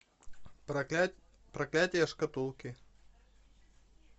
проклятие шкатулки